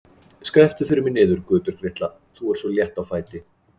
Skrepptu fyrir mig niður, Guðbjörg litla, þú ert svo létt á fæti.